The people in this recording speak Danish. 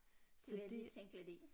Det vil jeg lige tænke lidt i